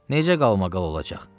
Necə qalmaqalı olacaq?